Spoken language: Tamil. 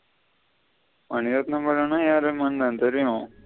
மணிரத்தினம் படம்ன எர்ரகுமான்தா தெரியும்.